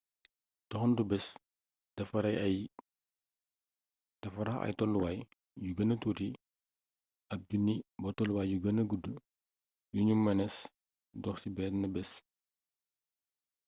doxantu bés dafa rax ay tolluwaay yu gëna tuuti ab junni ba tolluwaaay yu gën gudd yu nu mënees dox ci benn bés